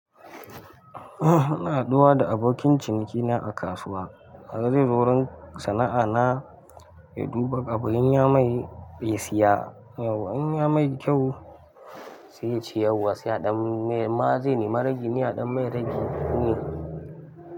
Ina haɗuwa da abokin cinikina a kasuwa. Har zai zo wurin sana'a na ya duba abu in ya mai ya siya yauwa. In ya mai kyau sai ya ce yauwa sai aɗan mai. Ma zai nemi ragi ne aɗan mai ragi ne.